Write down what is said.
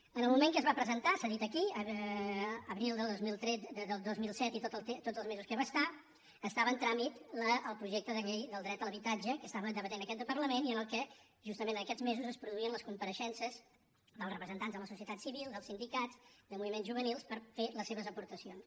en el moment que es va presentar s’ha dit aquí abril del dos mil set i tots els mesos que va estar estava en tràmit el projecte de llei del dret a l’habitatge que estava debatent aquest parlament i en què justament en aquests mesos es produïen les compareixences dels representants de la societat civil dels sindicats de moviments juvenils per fer les seves aportacions